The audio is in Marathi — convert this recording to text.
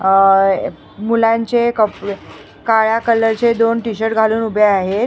अ मुलांचे कपडे काळ्या कलरचे दोन टी_शर्ट घालून उभे आहेत.